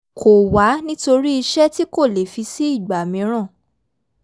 kọ̀ wá nítorí iṣẹ́ tí kò lè fi sí ìgbà míìràn